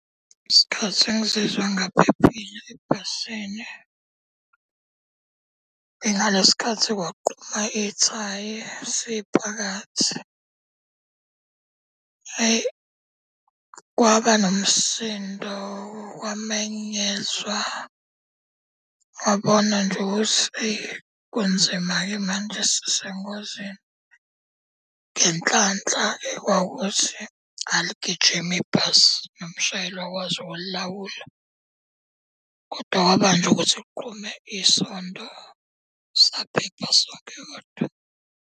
Isikhathi engizizwa ngingaphephile ebhasini ingalesi sikhathi kwaqhuma ithayi siphakathi. Hhayi, kwaba nomsindo kwamenyezwa, wabona nje ukuthi eyi kunzima-ke manje sisengozini. Ngenhlanhla-ke kwawukuthi aligijimi ibhasi, nomshayeli wakwazi ukulilawula. kodwa kwaba nje ukuthi kuqhume isondo saphepha sonke kodwa.